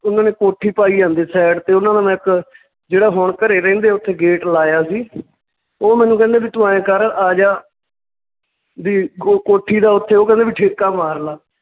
ਉਹਨਾਂ ਨੇ ਕੋਠੀ ਪਾਈ ਜਾਂਦੇ side ਤੇ ਉਹਨਾਂ ਨੂੰ ਮੈਂ ਇੱਕ ਜਿਹੜਾ ਹੁਣ ਘਰੇ ਰਹਿੰਦੇ ਉਥੇ gate ਲਾਇਆ ਸੀ ਓਹ ਮੈਨੂੰ ਕਹਿੰਦੇ ਵੀ ਤੂੰ ਆਂਏ ਕਰ ਆਜਾ ਵੀ ਕੋ~ ਕੋਠੀ ਦਾ ਓੁਥੇ ਓਹ ਕਹਿੰਦੇ ਵੀ ਠੇਕਾ ਮਾਰਲਾ